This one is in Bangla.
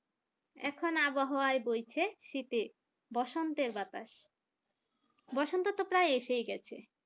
এখন আবহাওয়া বইছে শীতে বসন্তের বাতাস বসন্ত তো প্রায় এসে গেছে